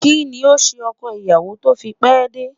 Kí ni o se ọkọ ìyàwó tó fi pé dé?